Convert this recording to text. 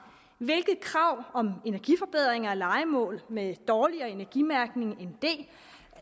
hvilke krav om energiforbedringer af lejemål med dårligere energimærkning end d